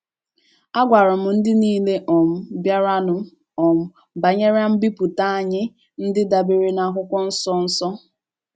“ Agwara m ndị nile um bịaranụ um banyere mbipụta anyị ndị dabeere n'akwụkwọ nsọ. nsọ.